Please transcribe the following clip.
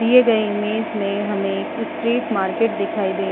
दिए गए इमेज में हमें स्ट्रीट मार्केट दिखाई --